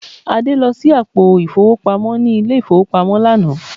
Adé lọ ṣí àpò ìfowópamọ́ ní ilé-ìfowópamọ́ lánàá